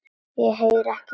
Ég heyri ekki í þér.